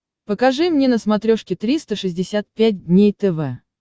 покажи мне на смотрешке триста шестьдесят пять дней тв